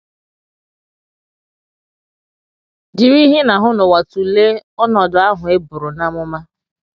Jiri ihe ị na - ahụ n’ụwa tụlee ọnọdụ ahụ e bụrụ n’amụma.